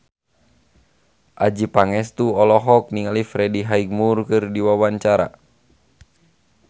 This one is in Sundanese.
Adjie Pangestu olohok ningali Freddie Highmore keur diwawancara